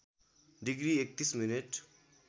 degree ३१ minute